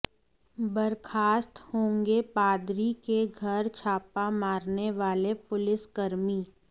बर्खास्त होंगे पादरी के घर छापा मारने वाले पुलिसकर्मी